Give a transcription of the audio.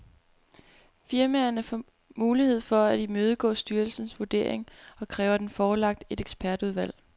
Firmaerne får mulighed for at imødegå styrelsens vurdering og kræve den forelagt et ekspertudvalg.